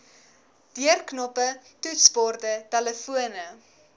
deurknoppe toetsborde telefone